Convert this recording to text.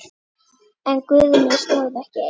En Guðni stóð ekki einn.